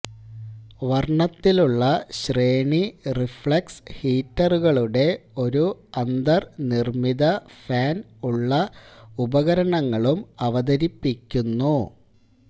വർണത്തിലുള്ള ശ്രേണി റിഫ്ലക്സ് ഹീറ്ററുകളുടെ ഒരു അന്തർനിർമ്മിത ഫാൻ ഉള്ള ഉപകരണങ്ങളും അവതരിപ്പിക്കുന്നു